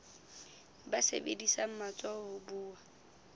ba sebedisang matsoho ho buwa